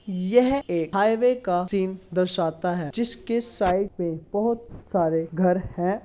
यह एक हाईवे का सीन दर्शाता है जिसकी साइड में बहुत सारे घर है।